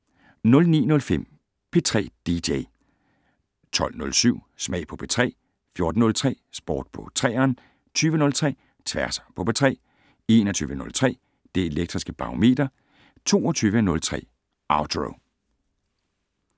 09:05: P3 dj 12:07: Smag på P3 14:03: Sport på 3eren 20:03: Tværs på P3 21:03: Det Elektriske Barometer 22:03: Outro